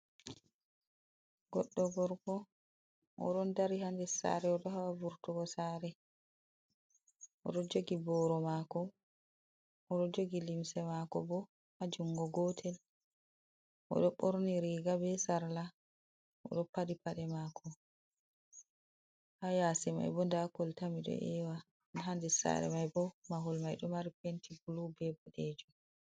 Godɗo gorko oɗo dari ha nder sare, oɗo haɓa vurtugo sare, oɗo jogi boro mako oɗoo jogi lumse mako bo ha jungo gotel, oɗo ɓorni riga be sarla odo paɗi paɗe mako.ha yasi mai bo nda kolta mi ɗo ewa, ha nder sare mai bo mahol mai ɗo mari penti bulu be boɗejum.